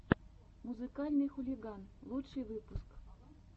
музыкальный хулиган лучший выпуск